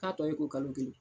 K'a tɔ ye ko kalo kelen